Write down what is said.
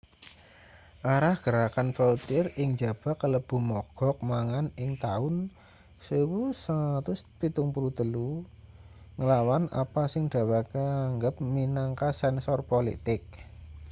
arah gerakan vautier ing njaba kalebu mogok mangan ing taun 1973 nglawan apa sing dheweke anggep minangka sensor politik